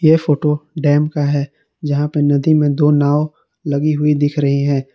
ये photo dam का है जहां पे नदी में दो नाव लगी हुई दिख रही है।